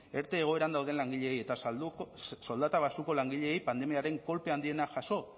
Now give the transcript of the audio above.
erte egoeran dauden langileei eta soldata baxuko langileei pandemiaren kolpe handiena jaso